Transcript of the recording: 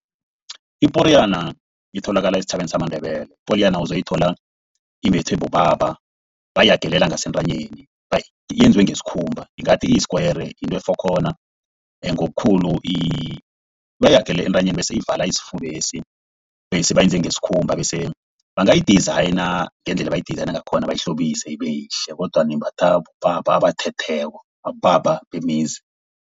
Iporiyana itholakala esitjhabeni samaNdebele. Iporiyana uzoyithola imbathwe bobaba, bayahageleka ngasentanyeni, yenziwe ngesikhumba ingathi isikwayere. Yinto efokhona ngobukhulu, bayihagelela entanyeni bese ivala isifuba lesi. Bese bayenze ngesikhumba bese bangayi-designer ngendlela abayi-designer ngakhona. Bayihlobise ibe yihle kodwana imbathwa bobaba abathetheko bobaba bemizi.